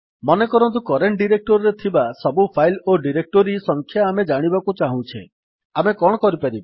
ମନେକରନ୍ତୁ କରେଣ୍ଟ୍ ଡିରେକ୍ଟୋରିରେ ଥିବା ସବୁ ଫାଇଲ୍ ଓ ଡିରେକ୍ଟୋରି ସଂଖ୍ୟା ଆମେ ଜାଣିବାକୁ ଚାହୁଁଛେ ଆମେ କଣ କରିପାରିବା